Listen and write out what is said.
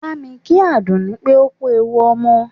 Bámi kí Àdùnní pé ó kú ewu ọmọ!